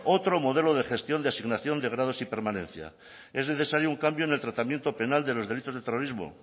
otro modelo de gestión de asignación de grados y permanencia es necesario un cambio en el tratamiento penal de los derechos del terrorismo